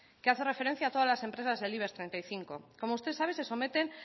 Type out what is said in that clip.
que hace referencia a todas las empresas del ibex treinta y cinco como usted sabe se someten